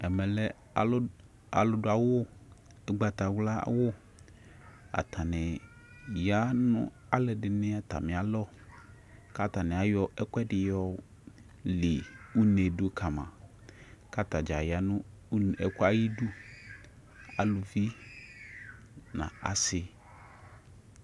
ɛmɛ alu dua ugbata wla wu atani ya nu ɔlɔdini ata mia lɔ ku atania yɔ ɛkuɛ dini yɔ li une du kama ku ata dƶa ya nu ɛkuɛ ayi du aluvi nu asi